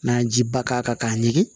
N'an ye jiba k'a kan k'a ɲimi